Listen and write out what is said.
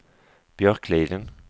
Björkliden